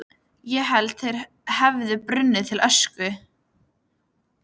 Ég hélt þeir hefðu brunnið til ösku.